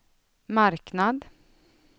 marknad